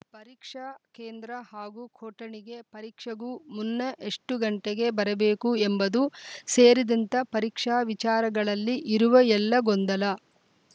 ಪರೀಕ್ಷಾ ಕೇಂದ್ರ ಹಾಗೂ ಕೊಠಡಿಗೆ ಪರೀಕ್ಷೆಗೂ ಮುನ್ನ ಎಷ್ಟುಗಂಟೆಗೆ ಬರಬೇಕು ಎಂಬುದು ಸೇರಿದಂತ ಪರೀಕ್ಷಾ ವಿಚಾರಗಳಲ್ಲಿ ಇರುವ ಎಲ್ಲ ಗೊಂದಲ